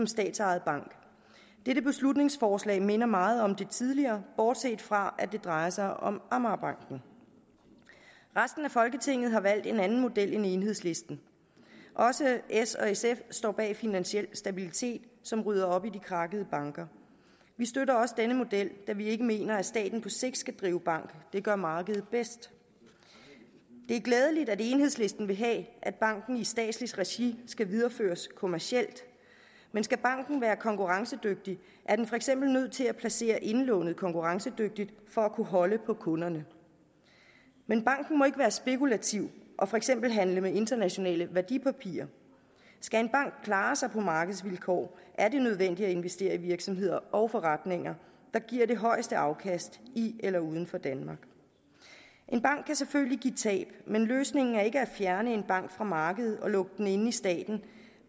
statsejet bank dette beslutningsforslag minder meget om det tidligere bortset fra at det drejer sig om amagerbanken resten af folketinget har valgt en anden model end enhedslisten også s og sf står bag finansiel stabilitet som rydder op i krakkede banker vi støtter også denne model da vi ikke mener at staten på sigt skal drive bank det gør markedet bedst det er glædeligt at enhedslisten vil have at banken i statsligt regi skal videreføres kommercielt men skal banken være konkurrencedygtig er den for eksempel nødt til at placere indlånet konkurrencedygtigt for at kunne holde på kunderne men banken må ikke være spekulativ og for eksempel handle med internationale værdipapirer skal en bank kunne klare sig på markedsvilkår er det nødvendigt at investere i de virksomheder og forretninger der giver det højeste afkast i eller uden for danmark en bank kan selvfølgelig give tab men løsningen er ikke at fjerne en bank fra markedet og lukke den inde i staten